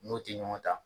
N'o tɛ ɲɔgɔn ta